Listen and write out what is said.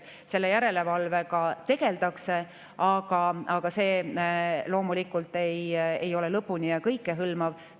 Selle järelevalvega tegeldakse, aga see loomulikult ei ole lõpuni ja kõike hõlmav.